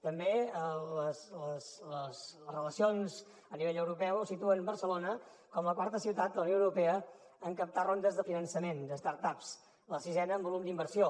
també les relacions a nivell europeu situen barcelona com la quarta ciutat de la unió europea en captar rondes de finançament de start ups la sisena en volum d’inversió